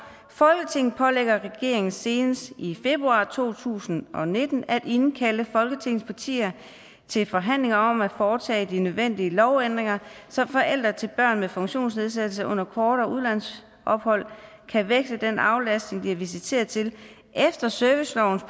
folketinget pålægger regeringen senest i februar to tusind og nitten at indkalde folketingets partier til forhandlinger om at foretage de nødvendige lovændringer så forældre til børn med funktionsnedsættelser under kortere udlandsophold kan veksle den aflastning de er visiteret til efter servicelovens